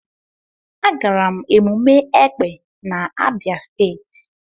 Agara m emume Ekpè n'Abia state.